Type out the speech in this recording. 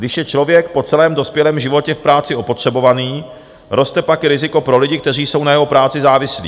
Když je člověk po celém dospělém životě v práci opotřebovaný, roste pak i riziko pro lidi, kteří jsou na jeho práci závislí.